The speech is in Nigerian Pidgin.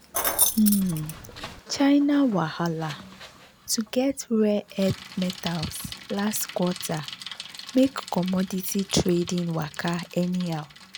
um china wahala to get rare earth metals last quarter make commodity trading waka anyhow.